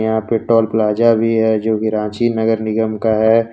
यहां पे toll plaza है जोकि रांची नगर निगम का है।